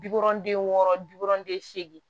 Bikɔrɔnden wɔɔrɔ bikɔnɔnden seegin